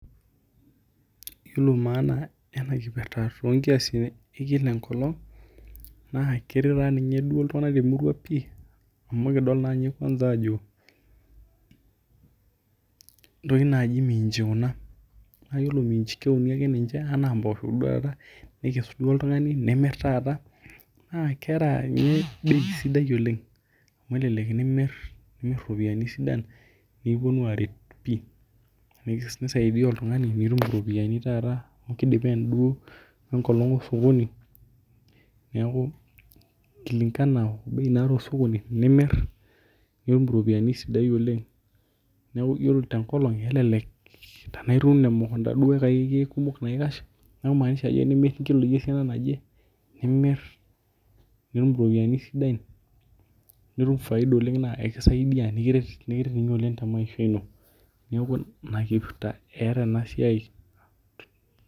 Iyilo maana enakipirta tonkiasin ekila enkolong enkolong na keret ltunganak pii amu kidol ajo ntokitin naji minji kuna na keuni ana mposho kuna na keeta entoki sidai oleng amu elelek imir ropiyani kumok anu kisaidia oltungani neaku kulingana bei naata osokoni na yiolo tenkolong na kelelek na kikash amu tenimir nkiloi esiana naje nimir nitum ropiyani sidan nikiret oleng temaisha ino neaku i akipirta eeta enasia